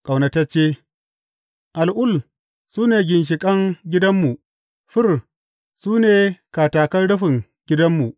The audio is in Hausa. Ƙaunatacce Al’ul su ne ginshiƙan gidanmu; fir su ne katakan rufin gidanmu.